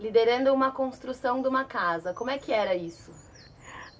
Liderando uma construção de uma casa, como é que era isso?